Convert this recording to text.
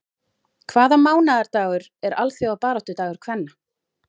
Hvaða mánaðardagur er alþjóðabaráttudagur kvenna?